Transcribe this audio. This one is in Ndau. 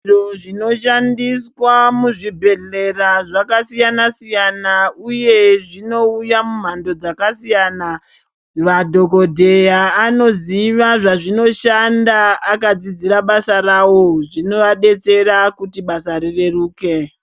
Zviro zvinoshandiswa muzvibhedhlera zvakasiyana-siyana uye zvino uya mumhando dzakasiyana madhokodheya noziva zvazvinoshanda akadzidzira basa rawo zvinovadetsera kuti basa rireruke